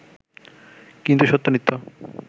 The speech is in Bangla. কিন্তু সত্য নিত্য